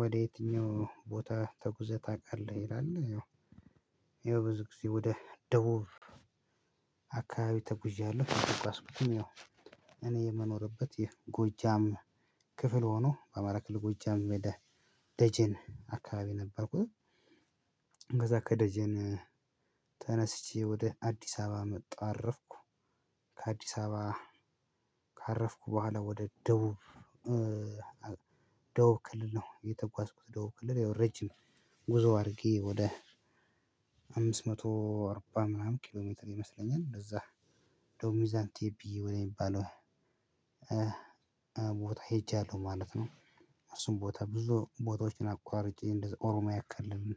ወደ የትኛው ቦታ ተጉዘህ ታውቃለህ? ይላል ያው ብዙ ጊዜ ወደ ደቡብ አካባቢ ተጉዣለሁ አንድ የተጓዝኩትም ያው እኔ የምኖርበት የጎጃም ክፍል ሆኖ በአማራ ክልል ጎጃም ወደ ደጄን አካባቢ ነበርኩኝ። ከዛ ከደጀን ተነስቼ ወደ አዲስ አበባ መጣሁ አረፍኩ። ከአዲስ አበባ ካረፍኩ በኋላ ወደ ደቡብ ደቡብ ክልል ነው የተጓዝኩት። ደቡብ ክልል ረጅም ጉዞ አድርጌ ወደ አምስት መቶ አርባ ምናምን ኪሎ ሜትር ይመስለኛል እንደዛ ወደ ሚዛን ቴፒ ወደ ሚባለው ቦታ ሄጃለሁ ማለት ነው። እሱን ቦታ ብዙ ቦታዎችን አቆራርጨ እንደዛ ኦሮሚያ ከልልን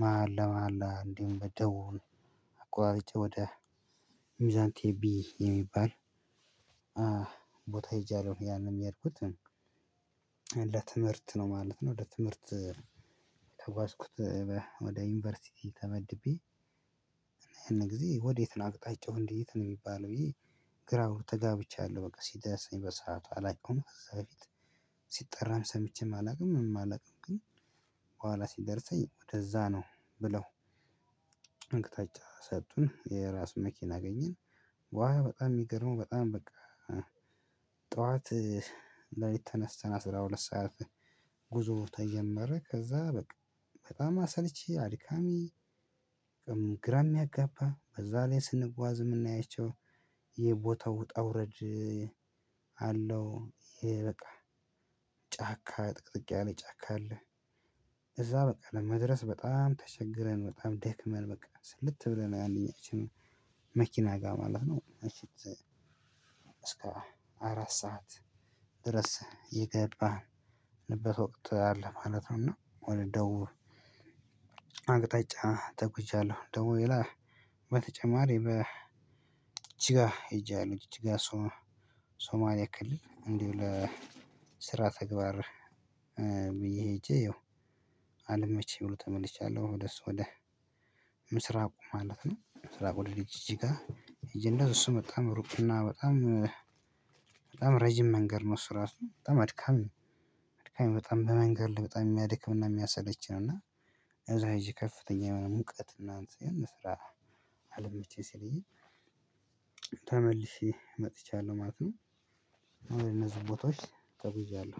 መሃል ለመሃል እንዴም በደቡብ አቆራርጨ ወደ ሚዛን ቴፒ የሚባል ቦታ ሄጃለሁ። ያንን ያልኩት ለትምህርት ነው ማለት ነው። ለትምህርት የተጓስኩት ወደ ዩኒቨርሲቲ ተመድቤ እና ያን ጊዜ ወዴት ነው አቅጣጫው እንዴት ነው የሚባለው? ይሄ ግራው ተጋብቻለሁ። በቃ ሲደሰኝ በሰአቱ አላቀውም ከዛ በፊት ሲጠራም ሰምቼም አላውቅም። ምን አላውቅም ግን በኋላ ሲደርሰኝ ወደዛ ነው። ብለው አቅጣጫ ሰጡኝ የራስ መኪና አገኘን። ዋው በጣም የሚገርመው በጣም በቃ ጠዋት ሌልት ተንስተን አስራ ሁለት ሰዓት ጉዞ ተጀመረ። ከዛ በቃ በጣም አሰልቺ አድካሚ ግራ ይሚያጋባ በዛ ላይ ስንጓዝ የምናያቸው ይሄ ቦታው ውጣ ውረድ። አለው ይሄ በቃ ጫካ ጥቅጥቅ ያለ ጫካ አለ። እዛ በቃ ለመድረስ በጣም ተቸግረን በጣም ደክመን በቃ ስልት ብለን አንደኛችንን መኪና ጋር ማለት ነው። እስከ አራት ሰዓት ድረስ የገባንበት ወቅት አለ ማለት ነው። እና ወደ ደቡብ አቅጣጫ ተጉዣለሁ። ደግሞ ሌላ በተጨማሪ ጅግጅጋ ሄጃለው ጅግጅጋ የሶማሊያ ክልል እንዲሁ ለስራ ተግባር ብዬ ሄጄ አልመችኝ ብሎ ተመልሻለሁ። ወደ እሱ ወደ ምስራቁ ማለት ነው። ምስራቁ ወደ ድርጅት ጋር እንደዚህ እሱ በጣም ሩቅና በጣም በጣም ረጅም መንገድ ነው። እሱ ራሱ በጣም አድካም ነው። አድካሚ በጣም በመንገድ በጣም የሚያድክምና የሚያሰለች ነው። እና እዛ ሄጄ ከፍተኛ የሆነ ሙቀት እና እንትን ለስራ አለመቼኝ ሲለኝ ተመልሼ መጥቻለሁ። ማለት ነው እነዚህ ቦታዎች ተጉዣለሁ